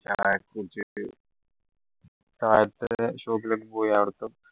താഴത്തെ shop ൽ ഒക്കെ പോയി അവിടെ